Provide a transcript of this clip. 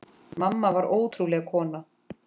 Mamma var ótrúleg kona.